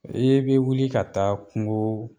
I ye bɛ wili ka taa kungo